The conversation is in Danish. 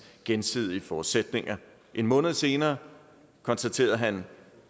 gensidige forudsætning en måned senere konstaterede han